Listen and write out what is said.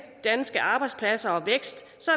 danske arbejdspladser